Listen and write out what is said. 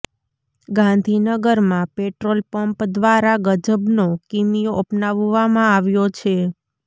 ગાંધીનગરમાં petrol pump દ્વારા ગજબનો કિમિયો અપનાવવામાં આવ્યો છે